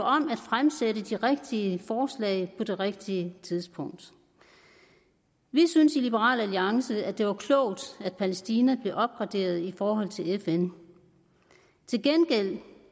om at fremsætte de rigtige forslag på det rigtige tidspunkt vi synes i liberal alliance at det var klogt at palæstina blev opgraderet i forhold til fn til gengæld vil